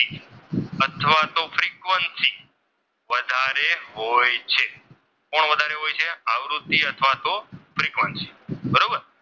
હોય છે કોણ વધારે હોય છે? આવૃત્તિ અથવા તો ફ્રિકવન્સી બરોબર.